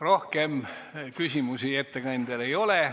Rohkem küsimusi ettekandjale ei ole.